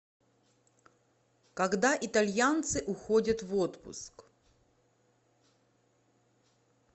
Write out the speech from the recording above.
когда итальянцы уходят в отпуск